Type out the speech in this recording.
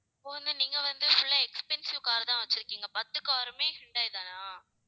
இப்ப வந்து நீங்க வந்து full ஆ expensive car தான் வச்சிருக்கீங்க பத்து car ருமே ஹூண்டாய் தானா